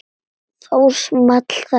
Þá small þetta